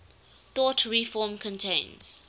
thought reform contains